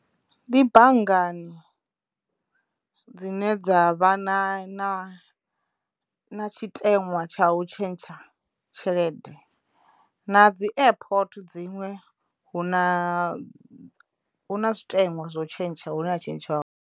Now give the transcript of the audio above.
Ndi banngani dzine dza vha na na na tshiteṅwa tsha u tshentsha tshelede na dzi airport dziṅwe hu na hu na zwiteṅwa zwo u tshentsha hu ne ha tshentshwa hone.